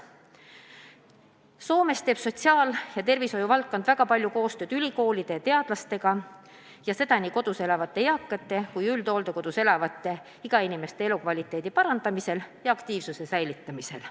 Soomes teevad sotsiaal- ja tervishoiuvaldkond väga palju koostööd ülikoolide ja teadlastega, ja seda nii kodus elavate eakate kui ka üldhooldekodus elavate nn ikä-inimeste elukvaliteedi parandamisel ja nende aktiivsuse hoidmisel.